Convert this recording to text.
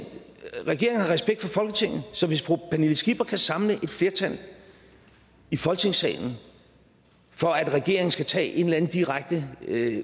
regeringen har respekt for folketinget så hvis fru pernille skipper kan samle et flertal i folketingssalen for at regeringen skal tage en eller anden direkte